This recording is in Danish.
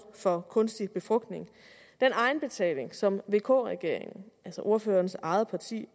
for kunstig befrugtning den egenbetaling som vk regeringen altså ordførerens eget parti